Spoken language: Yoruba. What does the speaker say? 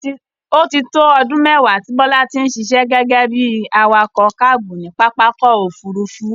Ó ti tó ọdún mẹ́wàá tí Bola ti ń ṣiṣẹ́ gẹ́gẹ́ bí i awakọ̀ káábù ní pápá ọkọ̀-òfurufú.